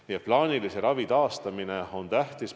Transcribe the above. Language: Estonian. Nii et plaanilise ravi taastamine on tähtis.